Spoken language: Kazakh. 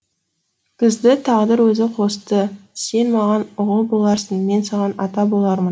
бізді тағдыр өзі қосты сен маған ұғыл боларсың мен саған ата болармын